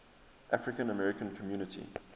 african american community